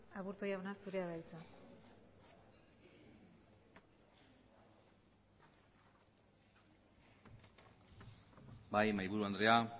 aburto jauna zurea da hitza bai mahaiburu andrea